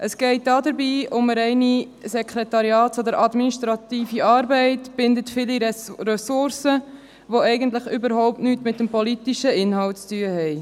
Es geht dabei um eine reine Sekretariats- oder administrative Arbeit, die viele Ressourcen bindet und eigentlich überhaupt nichts mit dem politischen Inhalt zu tun hat.